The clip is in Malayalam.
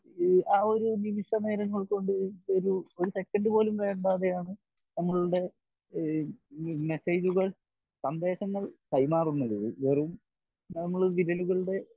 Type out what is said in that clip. ആ ഒരു നിമിഷ നേരങ്ങൾ കൊണ്ട് ഒരു ഒരു സെക്കൻഡ് പോലും വേണ്ടാതെയാണ് നമ്മളുടെ ഈ മെസ്സേജുകൾ സന്ദേശങ്ങൾ കൈമാറുന്നത് വെറും നമ്മൾ വിരലുകളുടെ